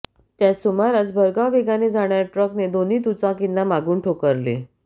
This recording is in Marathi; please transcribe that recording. त्याच सुमारास भरधाव वेगाने जाणाऱया ट्रकने दोन्ही दुचाकींना मागून ठोकरले